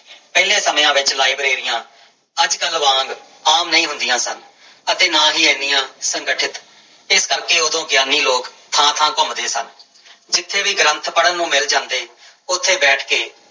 ਪਹਿਲੇ ਸਮਿਆਂ ਵਿੱਚ ਲਾਇਬ੍ਰੇਰੀਆਂ ਅੱਜ ਕੱਲ੍ਹ ਵਾਂਗ ਆਮ ਨਹੀਂ ਹੁੰਦੀਆਂ ਸਨ ਅਤੇ ਨਾ ਹੀ ਇੰਨੀਆਂ ਸੰਗਠਿਤ, ਇਸ ਕਰਕੇ ਉਦੋਂ ਗਿਆਨੀ ਲੋਕ ਥਾਂ ਥਾਂ ਘੁੰਮਦੇੇ ਸਨ ਜਿੱਥੇ ਵੀ ਗ੍ਰੰਥ ਪੜ੍ਹਨ ਨੂੰ ਮਿਲ ਜਾਂਦੇ ਉੱਥੇ ਬੈਠ ਕੇ